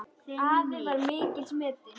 Afi var mikils metinn.